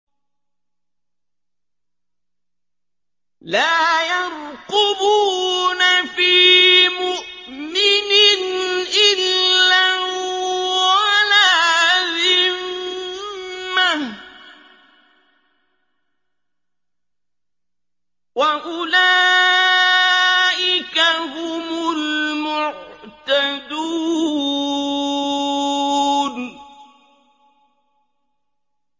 لَا يَرْقُبُونَ فِي مُؤْمِنٍ إِلًّا وَلَا ذِمَّةً ۚ وَأُولَٰئِكَ هُمُ الْمُعْتَدُونَ